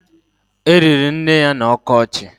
E liri nne ya n'ọkọchị